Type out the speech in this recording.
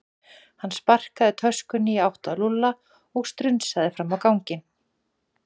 Hann sparkaði töskunni í átt að Lúlla og strunsaði fram á ganginn.